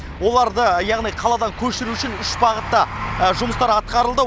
оларды яғни қаладан көшіру үшін үш бағытта жұмыстар атқарылды